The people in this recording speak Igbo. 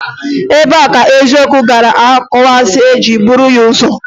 Ebee ka eziokwu gara okwuasị jiri buru ya ụzọ?